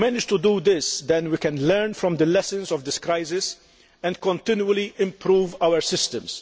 If we manage to do this, then we can learn from the lessons of this crisis and continually improve our systems.